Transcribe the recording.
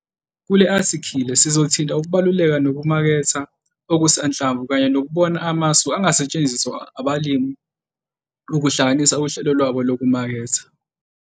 Kule athikhile sizothinta ukubaluleka kokumaketha okusanhlamvu kanye nokubona amasu angasetshenziswa abalimi ukuhlanganisa uhlelo lwabo lokumaketha.